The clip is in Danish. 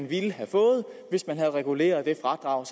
ville have fået hvis man havde reguleret det fradrag